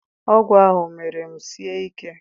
Ọgwụ ahụ mere m sie ike.